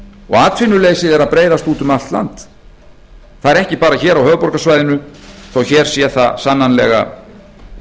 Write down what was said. og atvinnuleysið er að breiðast út um allt allt það er ekki bara hér á höfuðborgarsvæðinu þó að hér sé það sannarlega